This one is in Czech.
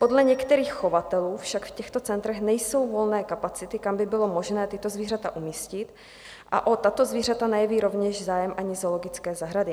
Podle některých chovatelů však v těchto centrech nejsou volné kapacity, kam by bylo možné tato zvířata umístit, a o tato zvířata nejeví rovněž zájem ani zoologické zahrady.